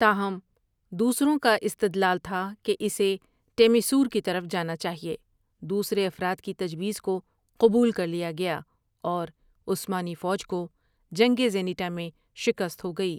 تاہم ، دوسروں کا استدلال تھا کہ اسے ٹیمیسور کی طرف جانا چاہیے دوسرے افراد کی تجویز کو قبول کر لیا گیا اور عثمانی فوج کوجنگ زینٹامیں شکست ہو گئی۔